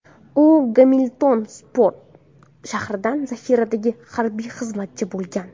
U Gamilton port shahridan zahiradagi harbiy xizmatchi bo‘lgan.